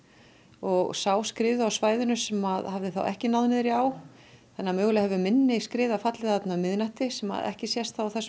og sá skriðu á svæðinu sem að hafði þá ekki náð niður í á þannig að mögulega hefur minni skriða fallið þarna um miðnætti sem að ekki sést á þessum